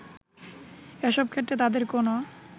এসব ক্ষেত্রে তাদের কোনো